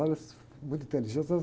Elas, muito inteligentes, elas